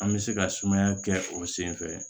An bɛ se ka sumaya kɛ o senfɛ